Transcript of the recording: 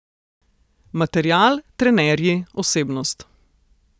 Material, trenerji, osebnost ...